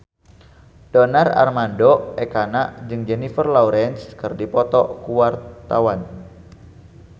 Donar Armando Ekana jeung Jennifer Lawrence keur dipoto ku wartawan